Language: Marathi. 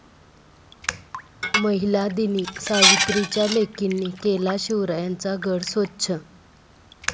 महिला दिनी सावित्रीच्या लेकींनी केला शिवरायांचा गड स्वच्छ